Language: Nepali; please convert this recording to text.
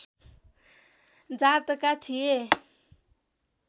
जातका थिए